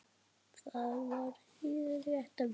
Það var hið rétta verð.